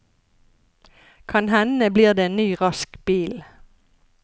Kan hende blir det en ny, rask bil.